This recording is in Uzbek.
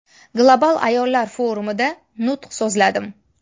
Global ayollar forumida nutq so‘zladim.